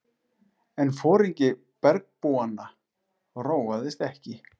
En foringi bergbúanna róaðist ekki.